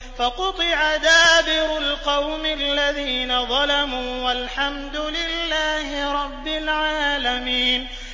فَقُطِعَ دَابِرُ الْقَوْمِ الَّذِينَ ظَلَمُوا ۚ وَالْحَمْدُ لِلَّهِ رَبِّ الْعَالَمِينَ